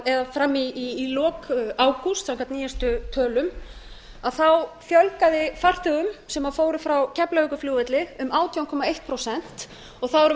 eða fram í lok ágúst samkvæmt nýjustu tölum fjölgaði farþegum sem fóru frá keflavíkurflugvelli um átján komma eitt prósent og þá erum við